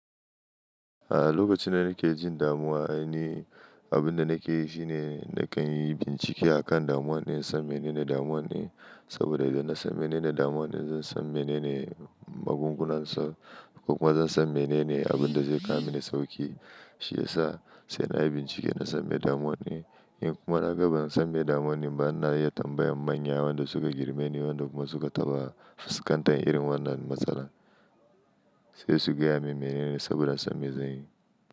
A lokacin da nake jin damuwa ne, abin da nake yi shi ne, nakan yi bincike a kan damuwar ne, in san menene damuwan ne. Saboda idan na san menene damuwar ne, zan san menene magungunan sa, ko kuma zan san menene abin da zai kama ni sauki. Shi ya sa sai na yi bincike, na san me damuwan ne. In kuma na ga ban san me damuwan ne ba, na iya tambayar manya waɗanda suka girma ne, waɗanda kuma suka taɓa fuskantar irin wannan matsala, sai su gaya min menene saboda samme zanyi.